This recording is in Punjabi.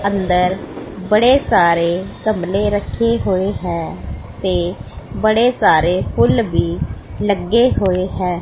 ਅੰਦਰ ਬੜੇ ਸਾਰੇ ਗਮਲੇ ਰੱਖੇ ਹੋਏ ਹੈਂ ਤੇ ਬੜੇ ਸਾਰੇ ਫੁੱਲ ਵੀ ਲੱਗੇ ਹੋਏ ਹੈਂ।